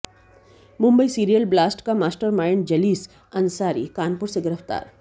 Mumbai serial blast का मास्टरमाइंडजलीस अंसारी कानपुर से गिरफ्तार